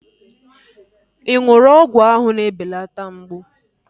Ị ṅụrụ ọgwụ áhụ̀ na-ebelata mgbụ?